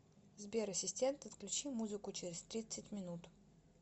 сбер ассистент отключи музыку через тридцать минут